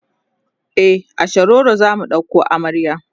e a shiroro zamu ɗauko amarya